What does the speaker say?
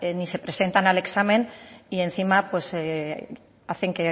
ni se presentan al examen y encima hacen